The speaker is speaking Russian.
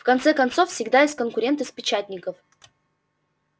в конце концов всегда есть конкуренты с печатников